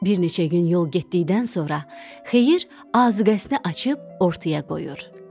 Bir neçə gün yol getdikdən sonra Xeyir azuqəsini açıb ortaya qoyur.